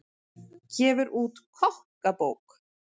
Gefur út kokkabók